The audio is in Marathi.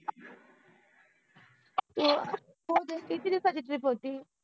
किति दिवसांचि ट्रिप होति